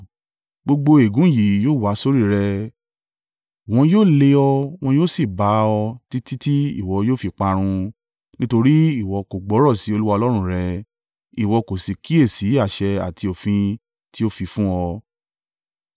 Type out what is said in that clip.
Gbogbo ègún yìí yóò wá sórí rẹ, wọn yóò lé ọ wọn yóò sì bá ọ títí tí ìwọ yóò fi parun, nítorí ìwọ kò gbọ́rọ̀ sí Olúwa Ọlọ́run rẹ, ìwọ kò sì kíyèsi àṣẹ àti òfin tí ó fi fún ọ.